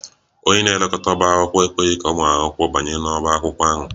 Onye na-elekọta ọbá akwụkwọ ekweghị ka ụmụ akwụkwọ ahụ banye n'ọbá akwụkwọ ahụ